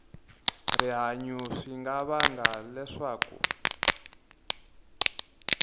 rihanyu swi nga vanga leswaku